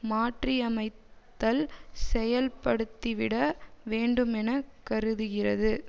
மாற்றியமைத்தல் செயல்படுத்திவிட வேண்டுமெனக் கருதுகிறது